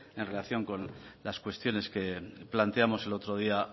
en relación con las cuestiones que planteamos el otro día